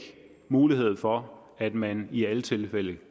mulighed for at man i alle tilfælde